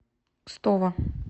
кстово